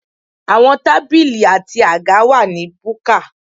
Àwọn tábìlì àti àga wà ní búkà.